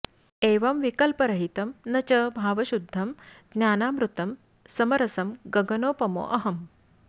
एवं विकल्परहितं न च भावशुद्धं ज्ञानामृतं समरसं गगनोपमोऽहम्